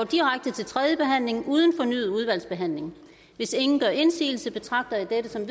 direkte til tredje behandling uden fornyet udvalgsbehandling hvis ingen gør indsigelse betragter jeg dette som